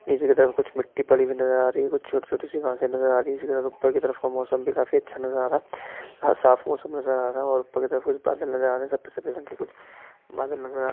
इस जगह पे कुछ मिट्टी पड़ी हुई नज़र आ रही है कुछ छोटी-छोटी सी घाँसे नज़र आ रही है इस घर के ऊपर की तरफ का मौसम भी काफी अच्छा नजारा आ रहा है साफ मौसम नज़र आ रहा है और ऊपर की तरफ कुछ बादल नज़र आ रहे है सफेद सफेद रंग की कुछ बादल नजर आ--